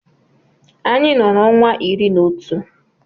Anyị nọ n’ọnwa iri na otu